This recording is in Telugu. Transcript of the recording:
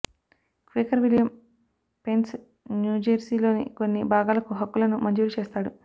క్వేకర్ విలియం పెన్న్ న్యూజెర్సీలోని కొన్ని భాగాలకు హక్కులను మంజూరు చేస్తాడు